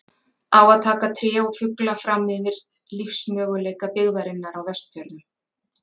Á að taka tré og fugla fram yfir lífsmöguleika byggðarinnar á Vestfjörðum?